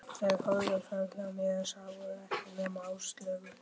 Þeir horfðu framhjá mér, sáu ekkert nema Áslaugu.